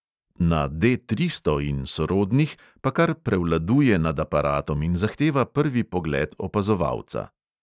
Na D tristo in sorodnih pa kar prevladuje nad aparatom in zahteva prvi pogled opazovalca.